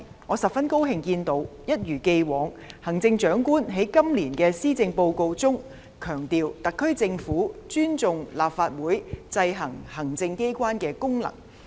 我十分高興看到行政長官一如既往，在今年的施政報告中，強調特區政府尊重立法會制衡行政機關的功能。